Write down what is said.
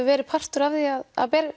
verið partur af því að